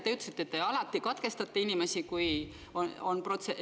Te ütlesite, et te alati katkestate inimesi, kui ei ole protseduuriline küsimus.